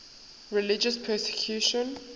religious persecution